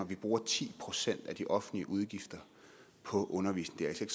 vi bruger ti procent af de offentlige udgifter på undervisning